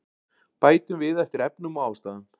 Bætum við eftir efnum og ástæðum